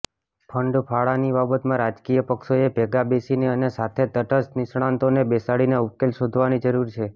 ફંડફાળાની બાબતમાં રાજકીય પક્ષોએ ભેગા બેસીને અને સાથે તટસ્થ નિષ્ણાતોને બેસાડીને ઉકેલ શોધવાની જરૂર છે